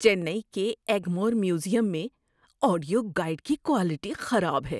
چنئی کے Egmore museum audio guide گائیڈ کی کوالٹی خراب ہے۔